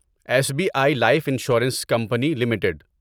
S B I life insurance company limited